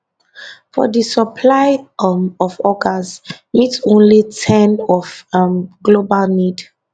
but di supply um of organs meet only about ten of um global need